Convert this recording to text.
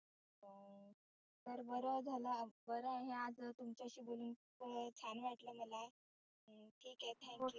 तर बरं झालं बरं हे आज तुमच्याशी बोलुन छान वाटलं मला. ठिक आहे thank you